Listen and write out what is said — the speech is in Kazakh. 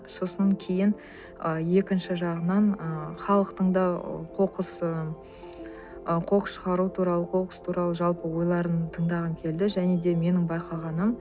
сосын кейін ы екінші жағынан ы халықтың да қоқыс ы қоқыс шығару туралы қоқыс туралы жалпы ойларын тыңдағым келді және де менің байқағаным